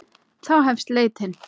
Þá hefst leitin.